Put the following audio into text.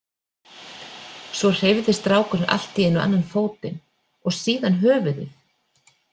Svo hreyfði strákurinn allt í einu annan fótinn og síðan höfuðið.